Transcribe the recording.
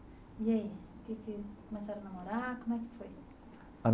E aí que que? Começaram a namorar, como é que foi?